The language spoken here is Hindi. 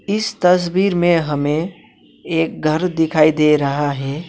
इस तस्वीर में हमे एक घर दिखाई दे रहा है।